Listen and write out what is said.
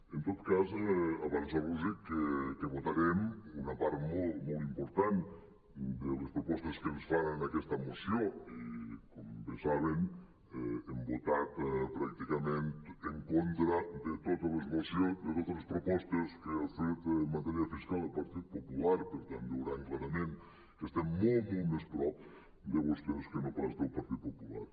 en tot cas avançar·los que votarem una part molt molt important de les propos·tes que ens fan en aquesta moció i com bé saben hem votat pràcticament en contra de totes les propostes que ha fet en matèria fiscal el partit popular per tant veuran clarament que estem molt molt més a prop de vostès que no pas del partit popular